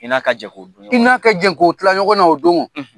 I n'a ka jɛ ko dun ɲɔgɔn . I n'a ka jɛ ko tilan ɲɔgɔn na o don